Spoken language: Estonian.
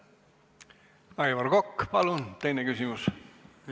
Aivar Kokk, palun teine küsimus!